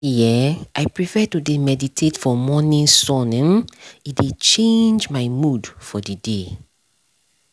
see[um]i prefer to dey meditate for morning sun um e dey charge my mood for the day